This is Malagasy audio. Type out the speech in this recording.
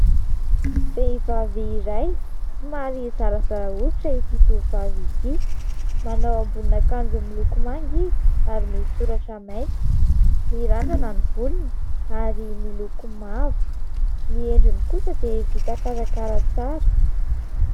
Vehivavy iray somary zarazara hoditra ity tovovavy ity, manao ambonin'akanjo miloko manga izy ary misy soratra mainty. Mirandrana ny volony ary miloko mavo. Ny endriny kosa dia vita karakara tsara.